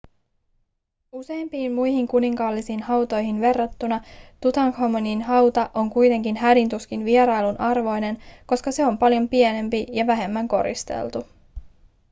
useimpiin muihin kuninkaallisiin hautoihin verrattuna tutankhamonin hauta on kuitenkin hädin tuskin vierailun arvoinen koska se on paljon pienempi ja vähemmän koristeltu